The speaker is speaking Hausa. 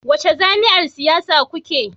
Wace jam'iyyar siyasa kuke?